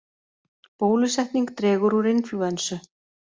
Bólusetning dregur úr inflúensu